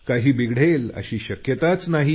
काही बिघडेल अशी शक्यताच नाही